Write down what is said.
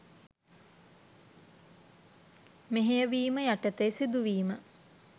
මෙහෙයවීම යටතේ සිදුවීම